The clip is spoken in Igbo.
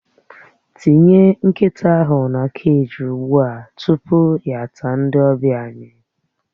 Tinye nkịta ahụ na keji ugbu a tupu ya ata ndị ọbịa anyị!